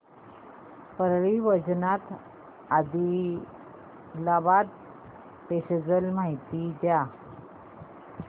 Parli Vaijnath Adilabad passenger ची माहिती द्या